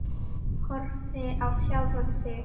Horfi á sjálfa mig.